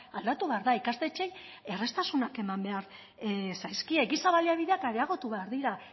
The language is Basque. aldatu behar da ikastetxeei erraztasunak eman behar zaizkie giza baliabideak areagotu behar dira